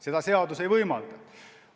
Seda seadus ei võimalda.